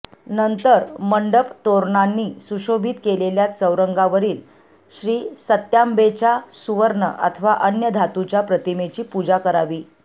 नंतर मंडप तोरणांनी सुशोभित केलेल्या चौरंगावरील श्रीसत्याम्बेच्या सुवर्ण अथवा अन्य धातूच्या प्रतिमेची पूजा करावी